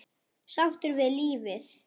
Sáttur við lífið.